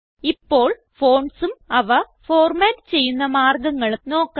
ഇപ്പോൾ fontsഉം അവ ഫോർമാറ്റ് ചെയ്യുന്ന മാർഗങ്ങളും നോക്കാം